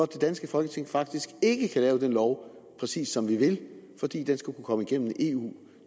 det danske folketing faktisk ikke lave den lov præcis som vi vil fordi den skal kunne komme igennem eu